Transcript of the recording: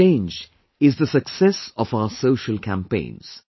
This change is the success of our social campaigns